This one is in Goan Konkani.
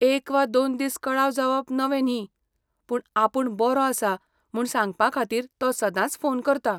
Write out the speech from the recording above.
एक वा दोन दीस कळाव जावप नवें न्ही, पूण आपूण बरों आसां म्हूण सांगपाखातीर तो सदांच फोन करता.